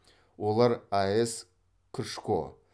олар аэс кршко